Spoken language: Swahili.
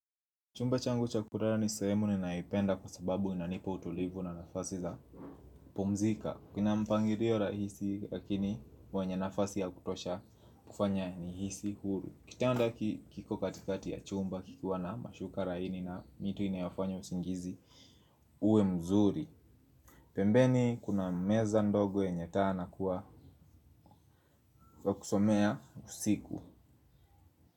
Chumba changu cha kulala ni sehemu ninaipenda kwa sababu inanipa utulivu na nafasi za pumzika kina mpangilio rahisi lakini wenye nafasi ya kutosha kufanya nihisi huru. Kitanda kiko katikati ya chumba kikiwa na mashuka laini na mito inayafanyo usingizi uwe mzuri. Pembeni kuna meza ndogo yenye taa na kwa kusomea usiku.